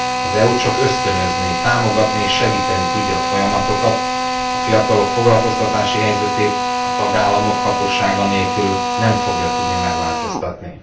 Az EU csak ösztönözni, támogatni és segíteni tudja a folyamatokat, a fiatalok foglalkoztatási helyzetét a tagállamok hatósága nélkül nem fogja tudni megváltoztatni.